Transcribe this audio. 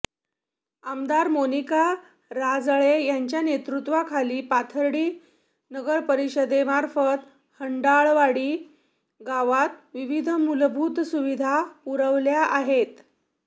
आमदार मोनिका राजळे यांच्या नेतृत्वाखालील पाथर्डी नगरपरिषदेमार्फत हंडाळवाडी गावात विविध मूलभूत सुविधा पुरवलेल्या आहेत